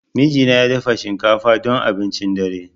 Mijina ya dafa shinkafa don abincin dare.